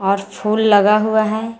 और फूल लगा हुआ है।